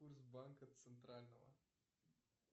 курс банка центрального